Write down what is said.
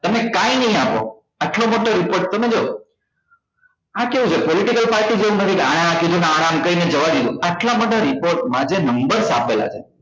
તમે કઈ નઈ આપો આટલો મોટો report તમે જોવો આ કેવું છે political party જેવું નથી આને આમ કર્યું આને આમ કર્યું બેસી જવા દીધું આટલા મોટા report માં જે numbers આપેલા છે